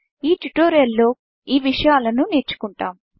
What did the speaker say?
ఈ ట్యూటోరియల్ లో ఈ విషయాలను నేర్చుకుంటాం